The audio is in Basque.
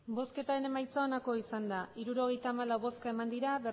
emandako botoak hirurogeita hamalau bai